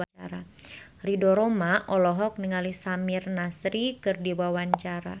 Ridho Roma olohok ningali Samir Nasri keur diwawancara